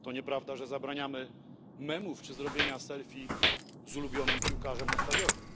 To nieprawda, że zabraniamy memów czy zrobienia selfie z ulubionym piłkarzem na stadionie.